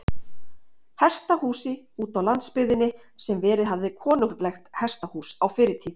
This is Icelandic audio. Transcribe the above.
Hesthúsi útá landsbyggðinni, sem verið hafði konunglegt hesthús á fyrri tíð.